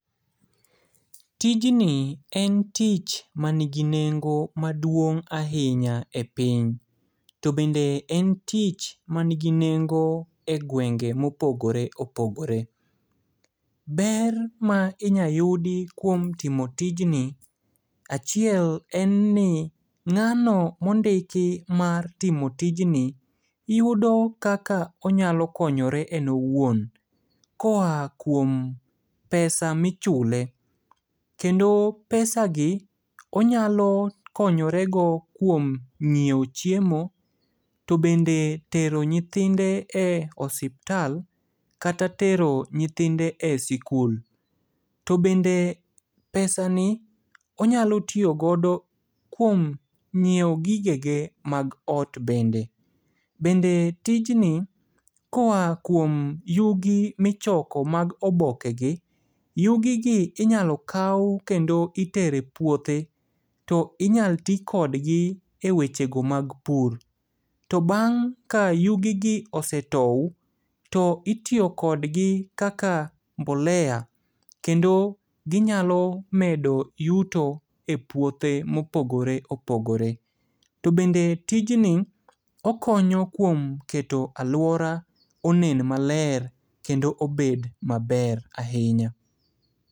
Tijni en tich manigi nengo maduong' ahinya e piny. To bende en tich manigi nengo e gwenge mopogore opogore. Ber ma inyayudi kuom timo tijni, achiel en ni ng'ano mondiki mar timo tijni yudo kaka onyalo konyore en owuon. Koa kuom pesa michule. Kendo pesagi onyalo konyorego kuom ng'ieo chiemo, to bende tero nyithinde e osuptal, kata tero nyithinde e sikul. To bende pesani onyalo tiyogodo kuom ng'ieo gigege mag ot bende. Bende tijni, koa kuom yugi michoko mag obokegi. Yugigi inyalo kao kendo itero e puothe to inyal ti kodgi e wechego mag pur. To bang' ka yugigi osetou to itiyo kodgi kaka mbolea, kendo ginyalo medo yuto e puothe mopogore opogore. To bende tijni okonyo kuom keto aluora onen maler kendo obed maber ahinya.